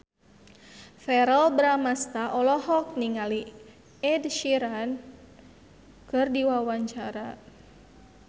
Verrell Bramastra olohok ningali Ed Sheeran keur diwawancara